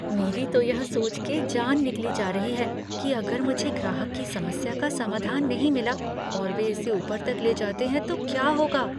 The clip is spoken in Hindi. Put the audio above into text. मेरी तो यह सोच के जान निकली जा रही है कि अगर मुझे ग्राहक की समस्या का समाधान नहीं मिला और वे इसे ऊपर तक ले जाते हैं तो क्या होगा।